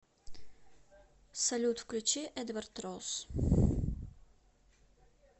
салют включи эдвард росс